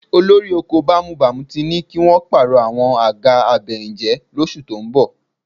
Olóko bámúbamù ti ní kí wọn ó pààrọ̀ àwọn àga abẹyìnjẹ́ lóṣù tó ń bọ̀